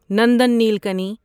Nandan Nilekani